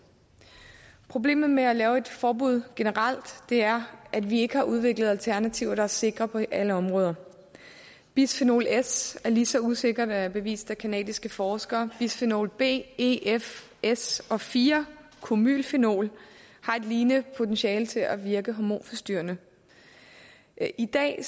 problemet med at lave et forbud generelt er at vi ikke har udviklet alternativer der er sikre på alle områder bisfenol s er lige så usikkert er det bevist af canadiske forskere bisfenol b e f s og fire formylfenol har et lignende potentiale til at virke hormonforstyrrende i dag